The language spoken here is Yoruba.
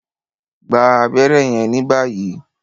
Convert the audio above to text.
gbà abéré yen ní báyìí!